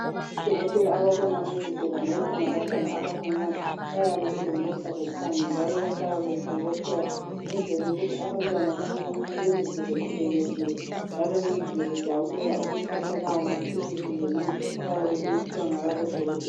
Odokotela ababona ngezigulane ezingabantwana abancinyane bayabe belomusa lothando njalo bahlala bebobotheka ukwenzela ukuthi abantwana abancinyane bezizwe bekhululekile njalo bezizwe bejabulela ukuthatha lawo maphilisi lemithi abayabe beyiphiwa ngalabo dokotela.